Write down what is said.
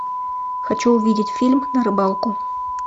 хочу увидеть фильм на рыбалку